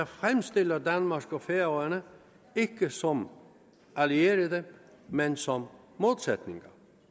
fremstiller danmark og færøerne som allierede men som modsætninger